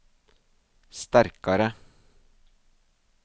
sterkare